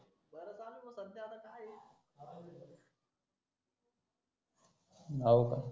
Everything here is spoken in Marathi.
होका